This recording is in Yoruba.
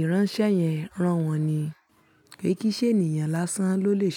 ìránṣẹ́ yẹn rán wọn ni. Kì í ṣe ènìyàn lásán ló lè ṣe.